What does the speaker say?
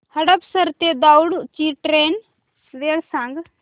हडपसर ते दौंड ची ट्रेन वेळ सांग